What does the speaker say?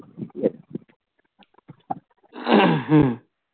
হম